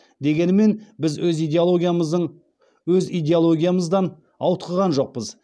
дегенімен біз өз идеологиямыздан ауытқыған жоқпыз